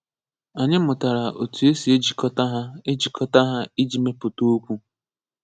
Anyi mụtara otu esi ejikọta ha ejikọta ha iji meputa okwu.